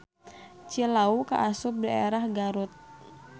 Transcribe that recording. Cilawu kaasup daerah Garut.